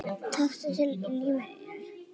Taktu til í lífi þínu!